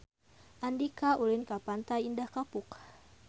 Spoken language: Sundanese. Andika ulin ka Pantai Indah Kapuk